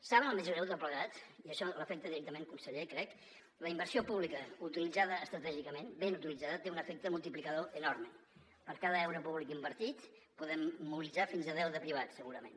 saben el més greu de tot plegat i això l’afecta directament conseller crec la inversió pública utilitzada estratègicament ben utilitzada té un efecte multiplicador enorme per cada euro públic invertit en podem mobilitzar fins a deu de privats segurament